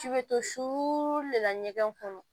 K'i bɛ to su de la ɲɛgɛn kɔnɔ